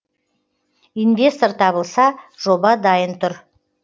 инвестор табылса жоба дайын тұр